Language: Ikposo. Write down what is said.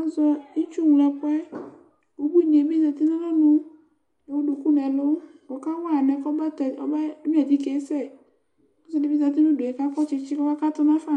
Azɛ itsuŋloɛkʋ Ubuini bi zati nʋ alɔnu kʋ ewu duku nɛlʋ kʋ ɔkawa yi alɛnɛ kɔbatɛ, kɔbenyua atike yɛ sɛ Ɔsi di bi zati nʋ udu e kʋ akɔ tsitsi kʋ ɔkakatʋ nafa